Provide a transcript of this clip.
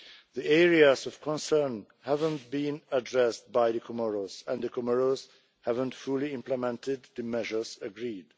The areas of concern haven't been addressed by the Comoros and the Comoros haven't fully implemented the measures agreed.